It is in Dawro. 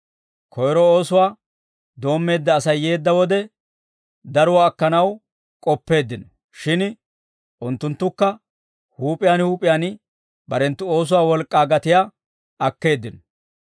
Koyro oosuwaa doommeedda Asay yeedda wode, daruwaa akkanaw k'oppeeddino; shin unttunttukka huup'iyaan huup'iyaan barenttu oosuwaa wolk'k'aa gatiyaa akkeeddino.